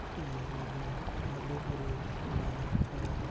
यखमा जी हरयूं-भरयुं मैदान च।